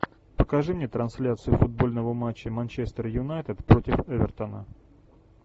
покажи мне трансляцию футбольного матча манчестер юнайтед против эвертона